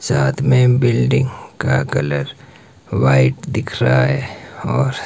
साथ में बिल्डिंग का कलर व्हाइट दिख रहा है और--